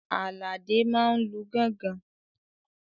Àlàdé máa n lu gángan